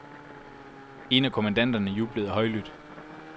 En af kommandanterne jublede højlydt.